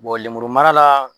Bɔn lemuru mara la